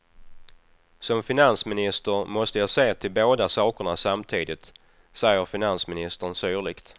Som finansminister måste jag se till båda sakerna samtidigt, säger finansministern syrligt.